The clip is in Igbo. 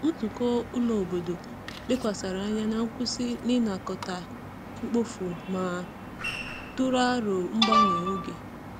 Nzukọ ụlọ obodo lekwasịrị anya na nkwụsị n’ịnakọta mkpofu ma tụrụ aro mgbanwe oge.